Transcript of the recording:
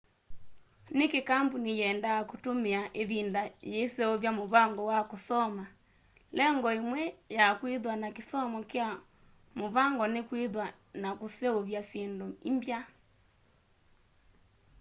niki kambuni yenda kutumia ivinda yiiseuvya muvango wa kusoma lengo imwe ya kwithwa na kisomo kya muvango ni kwithwa na kuseuvya syindu imbya